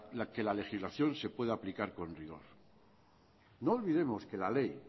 que la legislación se pueda aplicar con rigor no olvidemos que la ley